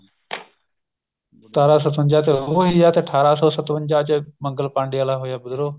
ਸਤਾਰਾਂ ਸਤਵੰਜਾ ਉਹ ਹੋਈ ਆ ਤੇ ਅਠਾਰਾਂ ਸੋ ਸਤਵੰਜਾ ਚ ਮੰਗਲ ਪਾਂਡੇ ਵਾਲਾ ਹੋਇਆ ਵਿਧਰੋਹ